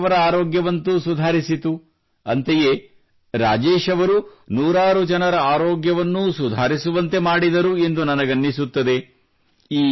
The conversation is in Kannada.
ರಾಜೇಶ್ ಅವರ ಆರೋಗ್ಯವಂತೂ ಸುಧಾರಿಸಿತು ಅಂತೆಯೇ ರಾಜೇಶ್ ಅವರು ನೂರಾರು ಜನರ ಆರೋಗ್ಯವನ್ನೂ ಸುಧಾರಿಸುವಂತೆ ಮಾಡಿದರು ಎಂದು ನನಗನ್ನಿಸುತ್ತದೆ